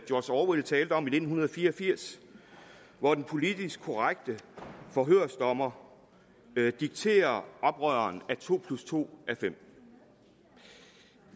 george orwell talte om i nitten fire og firs hvor den politisk korrekte forhørsdommer dikterer oprøreren at to plus to er fem